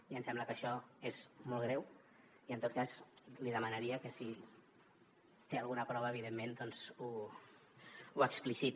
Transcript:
i em sembla que això és molt greu i en tot cas li demanaria que si en té alguna prova evidentment doncs ho expliciti